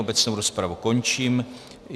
Obecnou rozpravu končím.